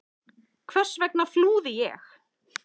Hvers vegna flúði ég?